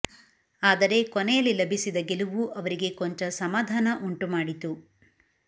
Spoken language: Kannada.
ಆದರೆ ಕೊನೆಯಲ್ಲಿ ಲಭಿಸಿದ ಗೆಲುವು ಅವರಿಗೆ ಕೊಂಚ ಸಮಾಧಾನ ಉಂಟು ಮಾಡಿತು